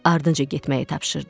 Ardınca getməyi tapşırdı.